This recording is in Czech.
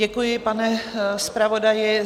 Děkuji, pane zpravodaji.